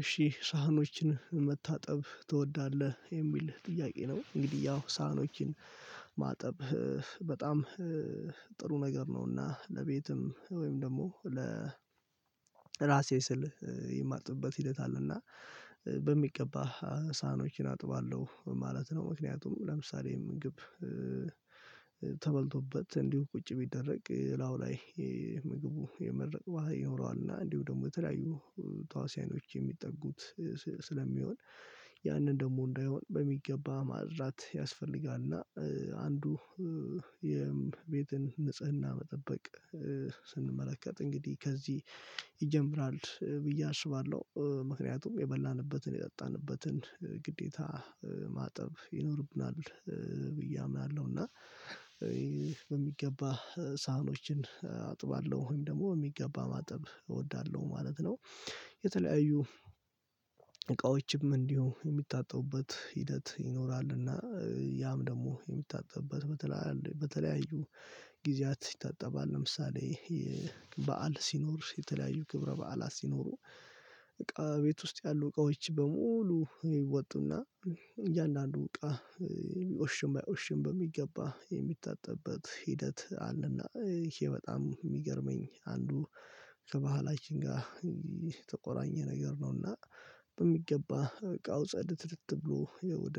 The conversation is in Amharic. "እሺ ሳህኖችን መታጠብ ትወዳለህ?" የሚል ጥያቄ ነው እንግዲህ ያው ሳህኖችን ማጠብ በጣም ጥሩ ነገር ነውና፣ ለቤትም ወይም ደግሞ ለራሴ ስል የማጥብበት ሂደት አለና በሚገባ ሳህኖችን አጥባለሁ ማለት ነው። ምክንያቱም ለምሳሌ ምግብ ተበልቶበት እንዲሁ ቁጭ ቢደረግ ላዩ ላይ ምግቡ የመድረቅ ባህሪ ይኖረዋል እና እንዲሁም ደግሞ የተለያዩ ተዋስያኖች የሚጠጉት ስለሚሆን ያንን ደግሞ እንዳይሆን በሚገባ ማጽዳት ያስፈልጋል እና አንዱ የቤትን ንጽህና መጠበቅ ስንመለከት እንግዲህ ከዚህ ይጀምራል ብዬ አስባለሁ። ምክንያቱም የበላንበትን የጠጣንበትን ግዴታ ማጠብ ይኖርብናል ብዬ አምናለሁ እና በሚገባ ሳህኖችን አጥባለሁ ወይም ደግሞ የሚገባ ማጠብ እወዳለሁ ማለት ነው። የተለያዩ እቃዎችም እንዲሁ የሚታጠቡበት ሂደት ይኖራልና ያም ደግሞ የሚታጠብበት በተለያዩ ጊዜያት ይታጠባል ለምሳሌ በዓል ሲኖር፣ የተለያዩ ክብረ በዓላት ሲኖሩ በቃ ቤት ውስጥ ያሉ እቃዎች በሙሉ ይወጡና እያንዳንዱ እቃ ይቆሽሽም አይቆሽሽም በሚገባ የሚታጠብበት ሂደት አለና ይሄ በጣም የሚገርመኝ አንዱ ከባህላችን ጋር የተቆራኘ ነገር ነው እና በሚገባ ዕቃው ጽድትት ብሎ ወደ